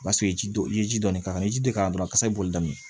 O y'a sɔrɔ ji ye ji dɔɔni k'a kan i ye ji dɔ k'a la dɔrɔn kasa bɛ boli daminɛ min